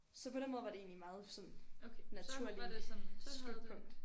Så på den måde var det egentlig sådan meget naturligt slutpunkt